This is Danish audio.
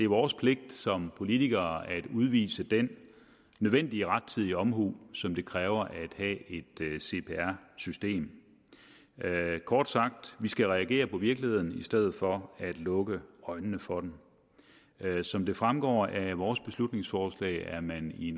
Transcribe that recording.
vores pligt som politikere at udvise den nødvendige rettidige omhu som det kræver at have et cpr system kort sagt vi skal reagere på virkeligheden i stedet for at lukke øjnene for den som det fremgår af vores beslutningsforslag er man i